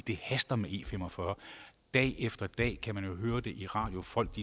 det haster med e45 dag efter dag kan man jo høre det i radioen folk